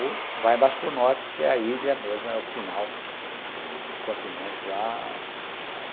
Ou vai mais para o norte, que é a ilha mesmo, é o final do continente lá.